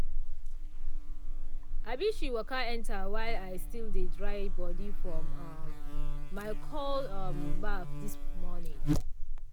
um she waka enter while i still dey dry body from um my cold um baff this morning.